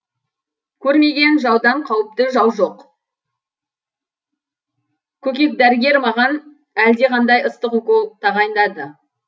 көрмеген жаудан қауіпті жау жоқ көкек дәрігер маған әлдеқандай ыстық укол тағайындады